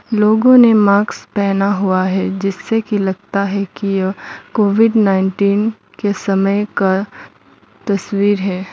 लोगों ने मार्क्स पहना हुआ है जिससे कि लगता है कि यह कोविड नाईनटिन के समय का तस्वीर है।